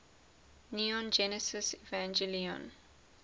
neon genesis evangelion